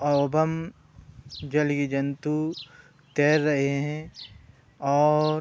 जलीय जंतु तैर रहे हैं और --